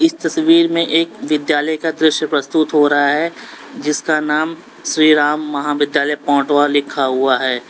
इस तस्वीर में एक विद्यालय का दृश्य प्रस्तुत हो रहा है जिसका नाम श्री राम महाविद्यालय पटोवा लिखा हुआ है।